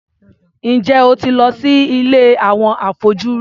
Ǹjẹ́ o ti lọ sí ilé àwọn afọ́jú rí?